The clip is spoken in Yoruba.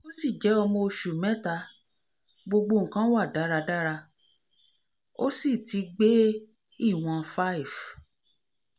o si je omo osu meta gbogbo nnkan wa daradara o si ti gbé ìwọ̀n five